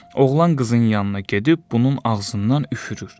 Oğlan qızın yanına gedib bunun ağzından üfürür.